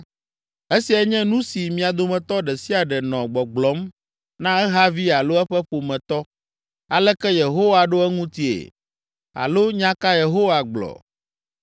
Esiae nye nu si mia dometɔ ɖe sia ɖe nɔ gbɔgblɔm na ehavi alo eƒe ƒometɔ: ‘Aleke Yehowa ɖo eŋutie?’ Alo ‘Nya ka Yehowa gblɔ?’